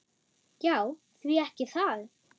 Já, því ekki það?